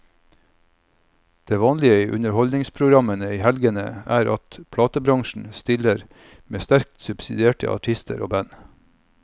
Det vanlige i underholdningsprogrammene i helgene er at platebransjen stiller med sterkt subsidierte artister og band.